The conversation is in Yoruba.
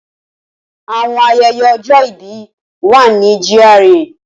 Awọn ayẹyẹ ojo ibi wà ni GRA.